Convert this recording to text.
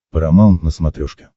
парамаунт на смотрешке